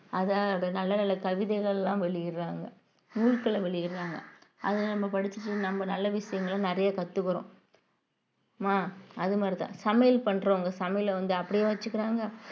அதை நல்ல நல்ல கவிதைகள் எல்லாம் வெளியிடுறாங்க நூல்களை வெளியிடுறாங்க அதை நம்ம படிச்சுட்டு நம்ம நல்ல விஷயங்களை நிறைய கத்துக்கிறோம் மா அது மாதிரிதான் சமையல் பண்றவங்க சமையலை வந்து அப்படியே வச்சுக்கிறாங்க